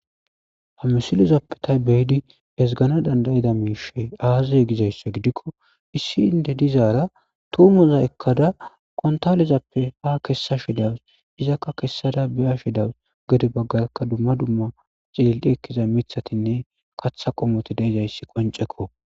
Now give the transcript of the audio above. Ha misilezappe tani be'idi ezgganawu danda'ida miishshey aaze gizayssa gidikko isso inde dizaara tuumoza ekkada kuntaalezappe ha kessashe de'awusse. Izakka kessada be'ashe de'awusse. Gede baggakka dumma dumma xeelli ekkiza miththatinne ksththa qommoti de'izayssi qoncceko.